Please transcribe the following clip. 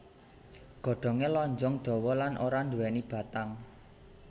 Godhongé lonjong dawa lan ora nduwèni batang